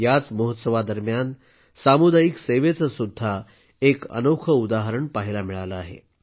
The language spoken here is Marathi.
याच महोत्सवा दरम्यान सामुदायिक सेवेचं सुद्धा एक अनोखं उदाहरण पाहायला मिळालं आहे